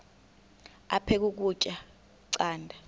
aphek ukutya canda